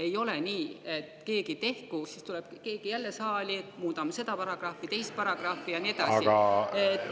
Ei ole nii, et keegi tehku ja siis tuleb keegi saali, et muudame jälle seda paragrahvi, teist paragrahvi ja nii edasi.